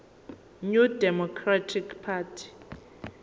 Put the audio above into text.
new democratic party